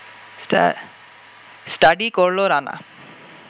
study করল রানা